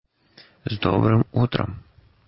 с добрым утром